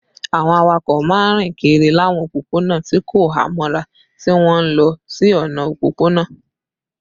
Àwọn awakọ̀ máa ń rìn kiri láwọn òpópónà tí kò há mọ́ra, tí wọ́n ń lọ sí ọ̀nà òpópónà